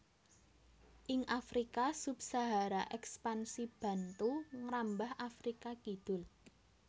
Ing Afrika Sub Sahara Èkspansi Bantu ngrambah Afrika Kidul